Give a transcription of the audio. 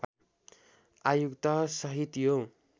आयुक्त सहित यो